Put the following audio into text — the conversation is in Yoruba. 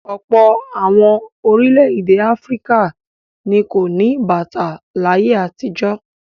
Ọ̀pọ̀ àwọn orílẹ̀-èdè Áfíríkà ni kò ní bàtà láyé àtijọ́.